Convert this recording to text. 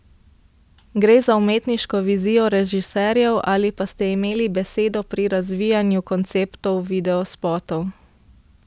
Gre za umetniško vizijo režiserjev ali pa ste imeli besedo pri razvijanju konceptov videospotov?